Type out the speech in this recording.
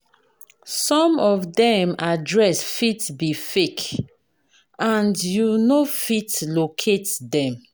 Some of them address fit be fake, and you no fit locate them.